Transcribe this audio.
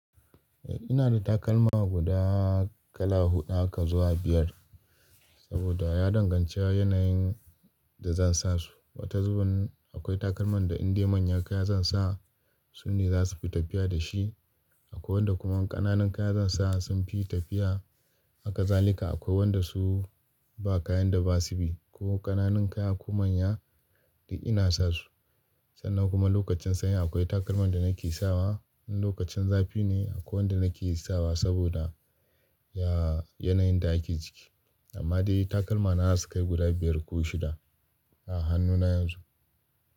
Eh ina da takalma guda kala huɗu haka zuwa biyar saboda ya danganci yanayin da zan sa su. Wata zuɓin akwai takalman da in dai manya kaya zan sa sune za su fi tafiya da shi. Akwai wanda kuma ƙananun kaya zan sa sun fi tafiya. Haka zalika akwai wanda su ba kayan da ba su bi ko ƙananun kaya ko manya duk ina sa su. Sannan kuma lokacin sanyi akwai takalman da nake sawa, in lokacin zafi ne akwai wanda nake sawa saboda ya yanayin da ake ciki. Amma dai takalma na za su kai guda biyar ko shida a hannuna yanzu.